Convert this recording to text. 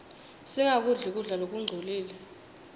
singakudli kudla lokungcolile